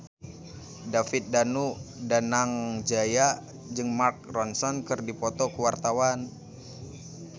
David Danu Danangjaya jeung Mark Ronson keur dipoto ku wartawan